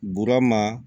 Burama